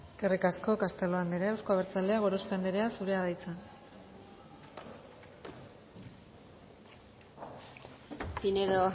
eskerrik asko castelo andrea euzko abertzaleak gorospe andrea zurea da hitza pinedo